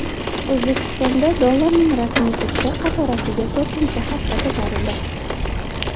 O‘zbekistonda dollarning rasmiy kursi qatorasiga to‘rtinchi hafta ko‘tarildi.